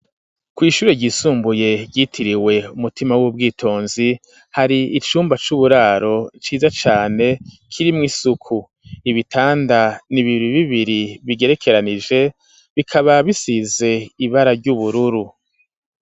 Kw'ishure ryisumbuye ryitiriwe umutima w'ubwitonzi hari icumba c'uburaro ciza cane kirimwo isuku ibitanda ni bibi bibiri bigerekeranije bikaba bisize ibara ry'ubururu.